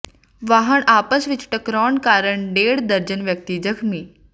ਵਾਹਨ ਆਪਸ ਵਿੱਚ ਟਕਰਾਉਣ ਕਾਰਨ ਡੇਢ ਦਰਜਨ ਵਿਅਕਤੀ ਜ਼ਖ਼ਮੀ